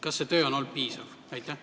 Kas see töö on olnud piisav?